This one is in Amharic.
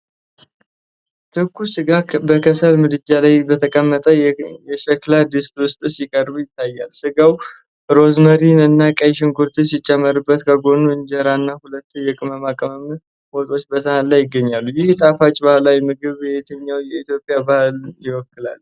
ትኩስ ስጋ በከሰል ምድጃ ላይ በተቀመጠ የሸክላ ድስት ውስጥ ሲቀርብ ይታያል። ስጋው ሮዝሜሪና ቀይ ሽንኩርት ሲጨመርበት፣ ከጎኑ እንጀራ እና ሁለት የቅመማ ቅመም ወጦች በሳህን ላይ ይገኛሉ። ይህ ጣፋጭ ባህላዊ ምግብ የትኛውን የኢትዮጵያ አካባቢ ይወክላል?